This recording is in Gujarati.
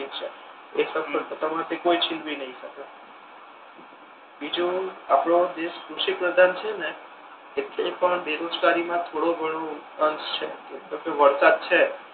કોઈ છીનવી નહી શકે બીજુ આપડો દેશ કૃષિ પ્રધાન છે ને એટલે પણ બેરોજગારી મા થોડો ઘણો અર્થ છે વરસાદ છે.